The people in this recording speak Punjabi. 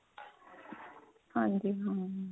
ਹਾਂਜੀ ਹਾਂਜੀ